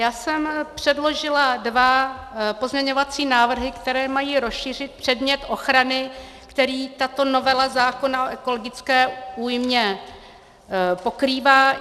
Já jsem předložila dva pozměňovací návrhy, které mají rozšířit předmět ochrany, který tato novela zákona o ekologické újmě pokrývá.